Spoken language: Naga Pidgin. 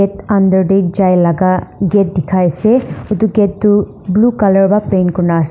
under tae jailaga gate dekhai ase etu gate toh blue colour para paint kurina --